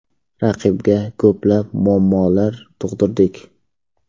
Raqibga ko‘plab muammolar tug‘dirdik.